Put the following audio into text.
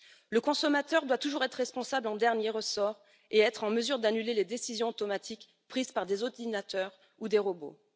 Le consommateur doit toujours être responsable en dernier ressort et être en mesure d'annuler les décisions automatiques prises par des ordinateurs ou des robots.